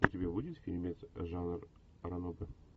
у тебя будет фильмец жанр ранобэ